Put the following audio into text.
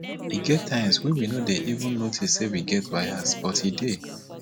e get times wey we no dey even notice say we get bias but e dey